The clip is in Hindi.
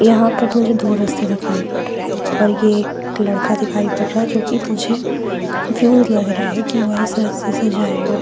यहां पर मुझे दो रास्ते दिखाइए पड रहे है और यह एक लड़का दिखाई पड़ रहा है जो कि मुझे कंफ्यूज लग रहा है कि वह इस रस्ते से जायगा ।